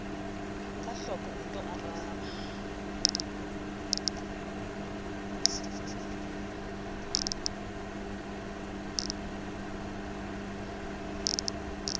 ka hloko o nto araba